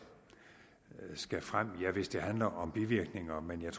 skal frem ja hvis det handler om bivirkninger men